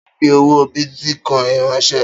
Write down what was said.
Ta ló fi owó bìtìcoin ránsẹ́?